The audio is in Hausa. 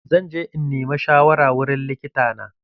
Zan je in nima shawara wurin likita na.